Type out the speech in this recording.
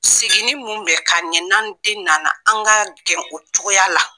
Seginin mun bɛ k'an ɲe, n'an den nana an ka gɛn o cogoya la.